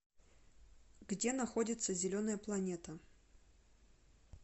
где находится зеленая планета